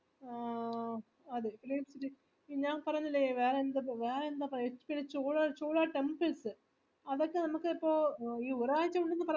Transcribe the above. ആഹ് പിന്നാ പറന്നില്ലേ വേറെന്താ ഇപ്പൊ വേറെന്താ ചോളാ ചോളാ temples അതൊക്കെ നമ്മക്കിപ്പോ അയ്യോ ഒരാൾക്കന്നൊക്കെ പറഞ്ഞിപ്പോ ഓരോ ദിവസം വച്ച് ഓരോ ഇത് ഇതെനിക്ക് പറയാം രണ്ട് പ്രാവിശ്യം നമക് പോവാം